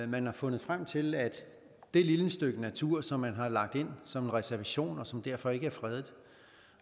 man har fundet frem til at det lille stykke natur som man har lagt ind som en reservation og som derfor ikke er fredet